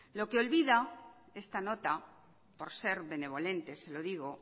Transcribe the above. lo que olvida esta nota por ser benevolentes se lo digo